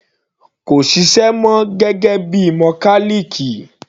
Kò ṣiṣẹ́ mọ gẹ́gẹ́ bíi mọkálìkì.